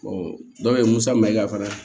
dɔ bɛ musa maiga fana